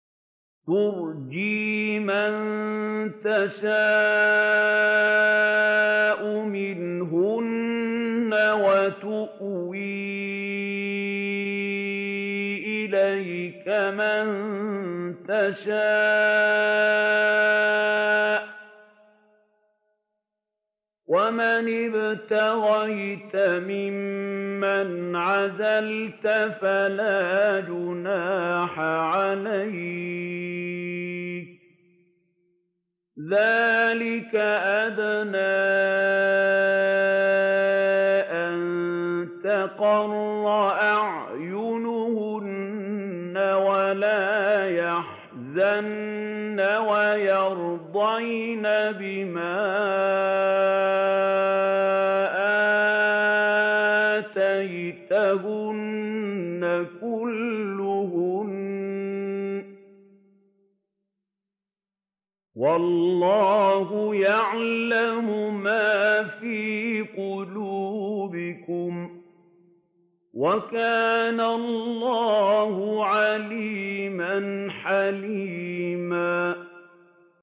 ۞ تُرْجِي مَن تَشَاءُ مِنْهُنَّ وَتُؤْوِي إِلَيْكَ مَن تَشَاءُ ۖ وَمَنِ ابْتَغَيْتَ مِمَّنْ عَزَلْتَ فَلَا جُنَاحَ عَلَيْكَ ۚ ذَٰلِكَ أَدْنَىٰ أَن تَقَرَّ أَعْيُنُهُنَّ وَلَا يَحْزَنَّ وَيَرْضَيْنَ بِمَا آتَيْتَهُنَّ كُلُّهُنَّ ۚ وَاللَّهُ يَعْلَمُ مَا فِي قُلُوبِكُمْ ۚ وَكَانَ اللَّهُ عَلِيمًا حَلِيمًا